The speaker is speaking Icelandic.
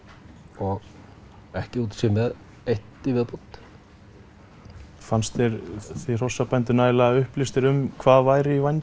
og ekki útséð með eitt í viðbót fannst þér þið hrossabændur nægilega vel upplýstir um hvað væri í vændum